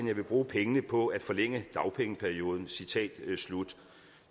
jeg vil bruge pengene på at forlænge dagpengeperioden citat slut